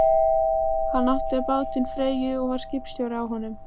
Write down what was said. Hann átti bátinn Freyju og var skipstjóri á honum.